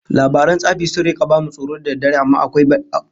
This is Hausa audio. Labaran tsafi sun rika bamu tsoro da daddare amma akwai dadi